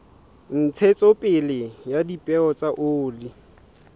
ntshetsopele ya dipeo tsa oli